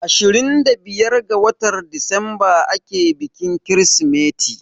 Ashirin da biyar ga watar disamba ake bikin Kirsimeti.